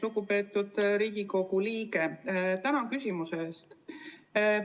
Lugupeetud Riigikogu liige, tänan küsimuse eest!